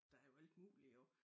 Der jo alt muligt jo